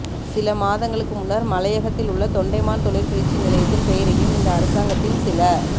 சில மாதங்களுக்கு முன்னர் மலையகத்தில் உள்ள தொண்டமான் தொழிற்பயிற்சி நிலையத்தின் பெயரையும் இந்த அரசாங்கத்தின் சில